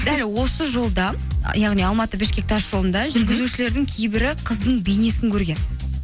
дәл осы жолда яғни алматы бішкек тасжолында жүргізушілердің кейбірі қыздың бейнесін көрген